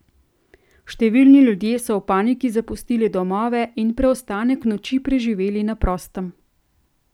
Številni ljudje so v paniki zapustili domove in preostanek noči preživeli na prostem.